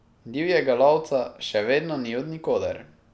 Divjega lovca še vedno ni od nikoder.